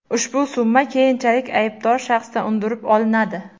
ushbu summa keyinchalik aybdor shaxsdan undirib olinadi.